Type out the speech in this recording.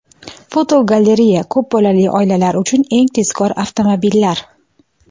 Fotogalereya: Ko‘p bolali oilalar uchun eng tezkor avtomobillar.